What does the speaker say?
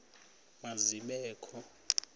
ma zibe kho